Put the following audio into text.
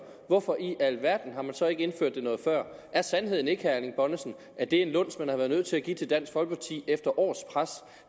hvorfor i alverden har man så ikke indført det noget før er sandheden ikke herre erling bonnesen at det er en luns man har været nødt til at give til dansk folkeparti efter års pres